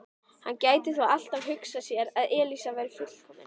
Hann gæti þó alltaf hugsað sér að Elísa væri fullkomin.